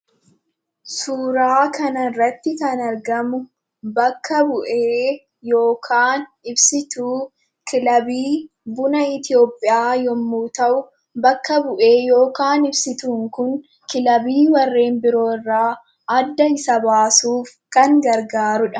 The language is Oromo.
Suuraa kanarratti kan argamu bakka bu'ee yookaan ibsituu kilabii buna Itoophiyaa yemmuu ta'u, bakka bu'ee yookiin ibsituun kun kilabiiwwan biroorraa adda isa baasuuf kan gargaarudha.